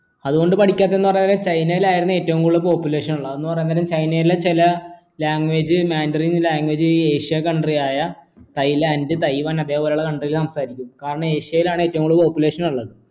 അതുകൊണ്ട് പഠിക്കാത്ത എന്ന് പറഞ്ഞാൽ ചൈനയിലായിരുന്ന് ഏറ്റവും കൂടുതൽ population ഉള്ളത് അത്ന്ന് പറയുന്നേരം ചൈനയിലെ ചില language മാൻഡറിന് language ഈ ഏഷ്യൻ country ആയ തായ്‌ലാൻഡ് തായ്‌വാൻ അതുപോലുള്ള country ൽ സംസാരിക്കും കാരണം ഏഷ്യയിലാണ് ഏറ്റവും കൂടുതൽ population ഉള്ളത്